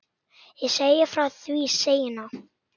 Ég segi frá því seinna.